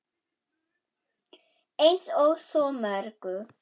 Eins og svo mörgu.